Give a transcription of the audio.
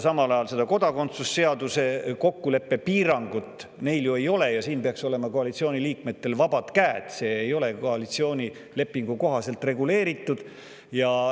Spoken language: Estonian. Samal ajal ei ole nad sellises piirangus kokku leppinud kodakondsuse seaduse puhul, seega peaks koalitsiooni liikmetel olema vabad käed seda muuta, seda ei ole ju koalitsioonilepinguga kuidagi reguleeritud.